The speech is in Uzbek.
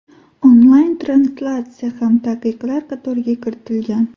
Onlayn translyatsiya ham taqiqlar qatoriga kiritilgan.